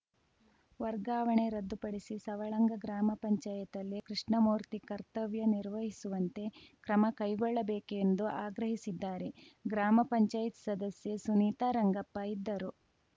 ವರ್ಗಾವಣೆ ರದ್ದುಪಡಿಸಿ ಸವಳಂಗ ಗ್ರಾಮ ಪಂಚಾಯತ್ ಲ್ಲೇ ಕೃಷ್ಣಮೂರ್ತಿ ಕರ್ತವ್ಯ ನಿರ್ವಹಿಸುವಂತೆ ಕ್ರಮ ಕೈಗೊಳ್ಳಬೇಕೆಂದು ಆಗ್ರಹಿಸಿದ್ದಾರೆ ಗ್ರಾಮ ಪಂಚಾಯತ್ ಸದಸ್ಯೆ ಸುನೀತಾ ರಂಗಪ್ಪ ಇದ್ದರು